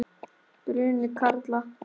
Bruni karla.